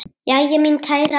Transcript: Jæja, mín kæra.